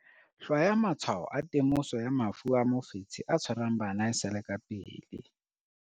Hlwaya matshwao a temoso ya mafu a mofetshe o tshwarang bana e sa le ka pele.